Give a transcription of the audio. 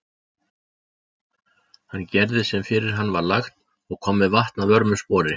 Hann gerði sem fyrir hann var lagt og kom með vatn að vörmu spori.